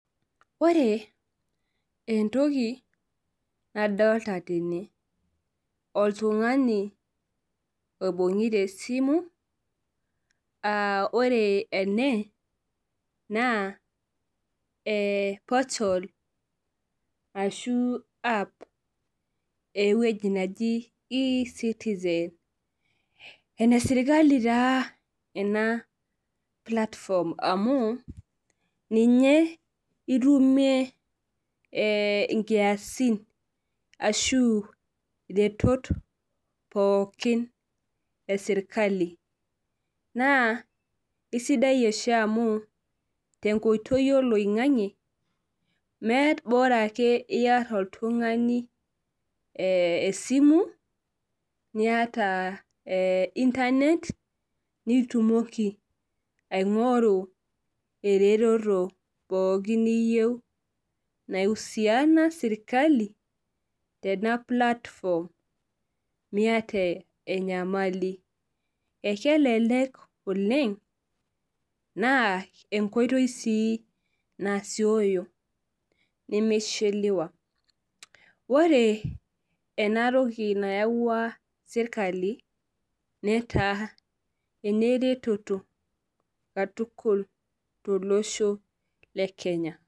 Ore entoki nadolita tene, oltungani oibungita esimu ,ore ene naa porta l ashu app eweji neji ecitizen ene sirkali taa ena platform amu ninye itumie nkiasin ashu iretoton pookin esirkali naa isidai oshi amu tenkoitoi oloingange ,Bora ake iyata oltungani esimu niyata internet nitumoki aingoru ereteto pookin niyieu naiusiana sirkali tena platform miyata enyamali. Ekelelek oleng naa enkoitoi sii nasioyo nemishiliwaOre ena toki nayaua sirkali netaa ereteto tukul tolosho lekenya.